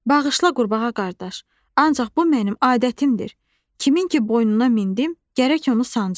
Bağışla qurbağa qardaş, ancaq bu mənim adətimdir, kimin ki boynuna mindim, gərək onu sancım.